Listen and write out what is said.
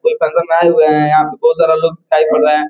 यहाँ पर बहुत सरे लोग कर रहे है।